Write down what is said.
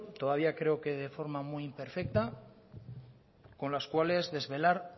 todavía creo que de forma muy imperfecta con las cuales desvelar